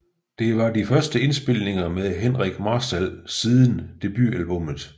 Det var de første indspilninger med Henrik Marstal siden debutalbummet